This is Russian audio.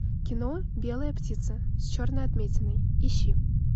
кино белая птица с черной отметиной ищи